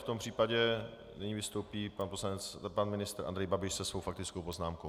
V tom případě nyní vystoupí pan ministr Andrej Babiš se svou faktickou poznámkou.